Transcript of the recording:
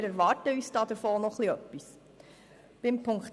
Wir haben diesbezüglich noch gewisse Erwartungen.